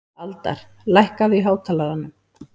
Aldar, lækkaðu í hátalaranum.